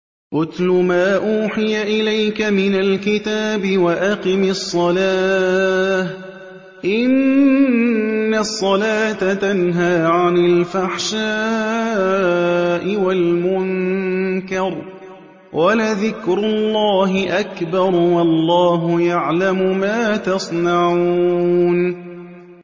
اتْلُ مَا أُوحِيَ إِلَيْكَ مِنَ الْكِتَابِ وَأَقِمِ الصَّلَاةَ ۖ إِنَّ الصَّلَاةَ تَنْهَىٰ عَنِ الْفَحْشَاءِ وَالْمُنكَرِ ۗ وَلَذِكْرُ اللَّهِ أَكْبَرُ ۗ وَاللَّهُ يَعْلَمُ مَا تَصْنَعُونَ